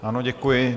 Ano, děkuji.